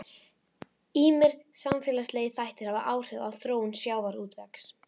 Ýmsir samfélagslegir þættir hafa áhrif á þróun sjávarútvegs.